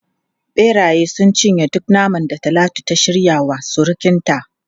Beraye sun cinye duk naman da Talatu ta shirya wa surukinta.